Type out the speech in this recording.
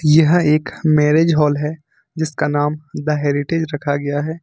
यह एक marriage hall है जिसका नाम द हेरिटेज रखा गया है।